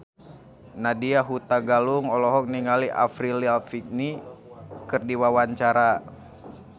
Nadya Hutagalung olohok ningali Avril Lavigne keur diwawancara